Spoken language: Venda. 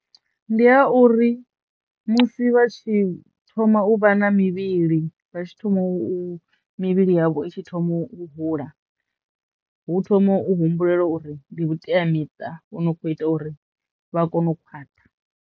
Ndi ha uri musi vha tshi thoma u vha na mivhili vha tshi thoma u mivhili yavho itshi thoma u hula hu thoma u humbulela uri ndi vhuteamiṱa vhu no kho ita uri vha kono u khwaṱha.